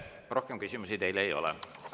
Rohkem küsimusi teile ei ole.